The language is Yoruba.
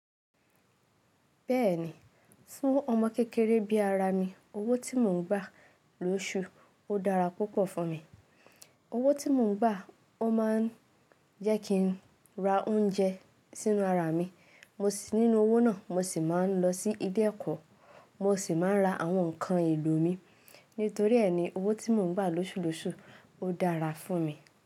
Bẹ́ẹ̀ni, fún ọmọ kékeré bí i ara mi, owó tí mò ń gbà lósù ó dára púpọ̀ fún mi. Owó tí mò ń gbà, ó máa ń jẹ́ kí n ra oúnjẹ sínú ara mi, nínú owó náà mo sì máa ń lọ sí ilé ẹ̀kọ́, mo sì máa ń ra àwọn ǹkan ìlò mi. Nítorí ẹ́ ni owó tí mò ń gbà lósù lósù ó dára fún mi.